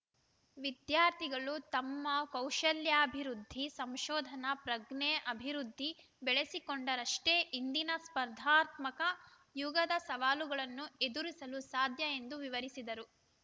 ವಿದ್ಯಾರ್ಥಿಗಳು ತಮ್ಮ ಕೌಶಲ್ಯಾಭಿವೃದ್ಧಿ ಸಂಶೋಧನಾ ಪ್ರಜ್ಞೆ ಅಭಿವೃದ್ಧಿ ಬೆಳೆಸಿಕೊಂಡರಷ್ಟೇ ಇಂದಿನ ಸ್ಪರ್ಧಾತ್ಮಕ ಯುಗದ ಸವಾಲುಗಳನ್ನು ಎದುರಿಸಲು ಸಾಧ್ಯ ಎಂದು ವಿವರಿಸಿದರು